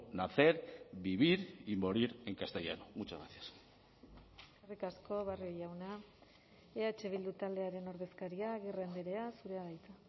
nacer vivir y morir en castellano muchas gracias eskerrik asko barrio jauna eh bildu taldearen ordezkaria agirre andrea zurea da hitza